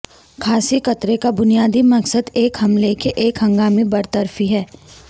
کھانسی قطرے کا بنیادی مقصد ایک حملے کے ایک ہنگامی برطرفی ہے